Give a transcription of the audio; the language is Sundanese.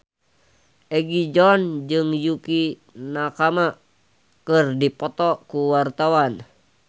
Egi John jeung Yukie Nakama keur dipoto ku wartawan